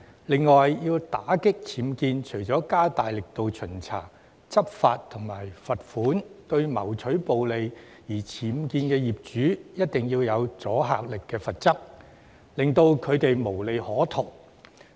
另外，要打擊僭建，除了加大力度巡查、執法和罰款，亦必須向為了牟取暴利而僭建的業主施加具阻嚇力的罰則，令他們無利可圖。